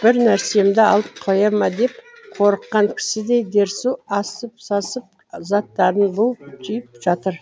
бір нәрсемді алып қоя ма деп қорыққан кісідей дерсу асып сасып заттарын буып түйіп жатыр